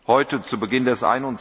Heute, zu Beginn des